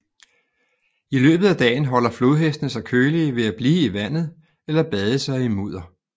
I løbet af dagen holder flodhestene sig kølige ved at blive i vandet eller bade sig i mudder